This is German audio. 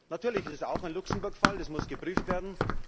Natürlich ist es auch ein Luxemburg Fall, das muss geprüft werden.